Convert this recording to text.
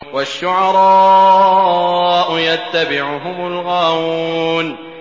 وَالشُّعَرَاءُ يَتَّبِعُهُمُ الْغَاوُونَ